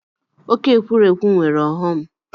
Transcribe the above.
Oke ekwurekwu nwere ọghọm.